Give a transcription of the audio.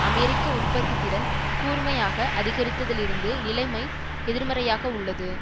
அமெரிக்க உற்பத்தி திறன் கூர்மையாக அதிகரித்ததிலிருந்து நிலைமை எதிர்மறையாக உள்ளது